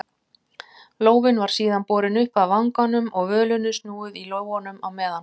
Lófinn var síðan borinn upp að vanganum og völunni snúið í lófanum á meðan.